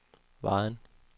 Vejen